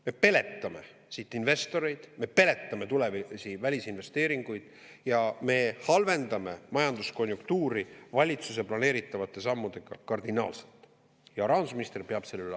Me peletame siit investoreid ja tulevasi välisinvesteeringuid ning valitsuse planeeritavate sammudega halvendame majanduskonjunktuuri kardinaalselt.